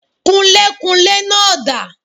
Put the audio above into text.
Kunlékunlé náà dà